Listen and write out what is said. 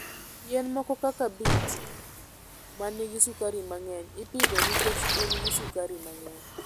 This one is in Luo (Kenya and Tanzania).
Yien moko kaka beet ma nigi sukari mang'eny, ipidho nikech gin gi sukari mang'eny.